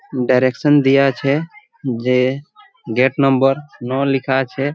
Direction দিয়া আছে যে গেট নম্বর নো লিখা আছে।